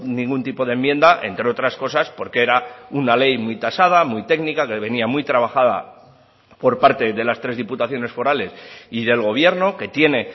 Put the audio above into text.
ningún tipo de enmienda entre otras cosas porque era una ley muy tasada muy técnica que venía muy trabajada por parte de las tres diputaciones forales y del gobierno que tiene